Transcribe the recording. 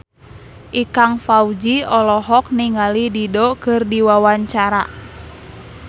Ikang Fawzi olohok ningali Dido keur diwawancara